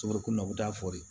Sogo kunna u bɛ taa fɔli